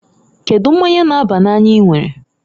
Kedu mmanya n'aba n'anya I nwere?